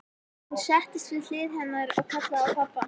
Hún settist við hlið hennar og kallaði á pabba.